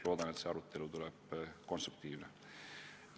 Loodan, et see arutelu tuleb konstruktiivne.